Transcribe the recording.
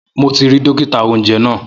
Mo ti ri dókítà-oúnjẹ náà